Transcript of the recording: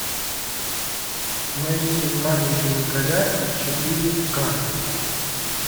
найди маленький николя четыре ка